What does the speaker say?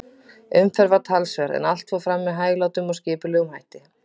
Umferð var talsverð, en allt fór fram með hæglátum og skipulegum hætti.